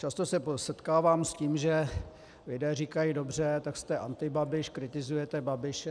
Často se setkávám s tím, že lidé říkají: Dobře, tak jste antibabiš, kritizujete Babiše...